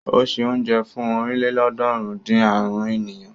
Ó se oúnjẹ fún ọ̀rìnlélọ́ọ̀ọ́dúnrún-dín-àrún ènìyàn.